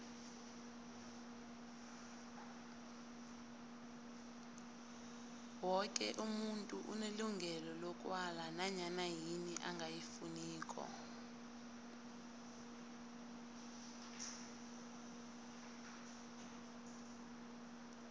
woke umuntu unelungelo lokwala nanyana yini angayifuniko